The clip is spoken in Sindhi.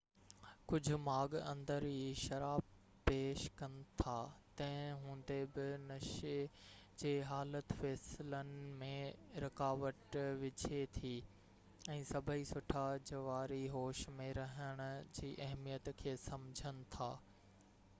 ڪجهہ ماڳ اندر ئي شراب پيش ڪن ٿا تنهن هوندي بہ نشي جي حالت فيصلن ۾ رڪاوٽ وجهي ٿي ۽ سڀئي سٺا جواري هوش ۾ رهڻ جي اهميت کي سمجهن ٿا